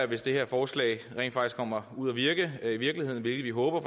hvis det her forslag rent faktisk kommer ud at virke i virkeligheden hvilket vi håber